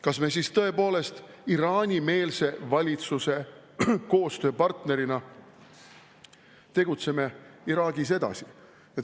Kas me siis tõepoolest tegutseme Iraani-meelse valitsuse koostööpartnerina Iraagis edasi?